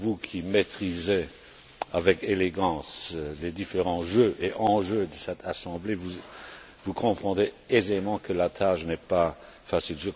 Vous qui maitrisez avec élégance les différents jeux et enjeux de cette assemblée, vous comprendrez aisément que la tâche n'est pas facile.